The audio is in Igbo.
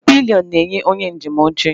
Pilion na-enye onye njem oche oche.